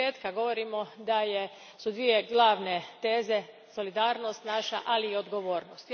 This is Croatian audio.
Od početka govorimo da su naše dvije glavne teze solidarnost, ali i odgovornost.